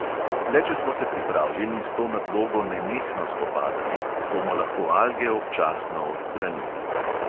Le če smo se pripravljeni s to nadlogo nenehno spopadati, bomo lahko alge občasno odstranili.